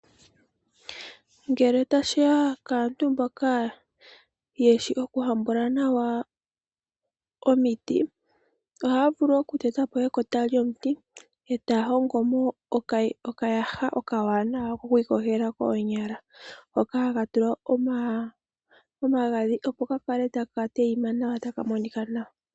Ngele tashiya kaantu mboka yeshi oku hambula nawa omiti, ohaya vulu oku tetapo ekota lyomuti etaya hongomo okayaha okawanawa koku iyogela koonyala hoka haka tulwa omagadhi opo kakale taka monika nawa.